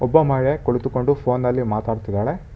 ಒಬ್ಬ ಮಹಿಳೆ ಕುಳಿತುಕೊಂಡು ಫೋನಲ್ಲಿ ಮಾತಾಡ್ತಿದಾಳೆ.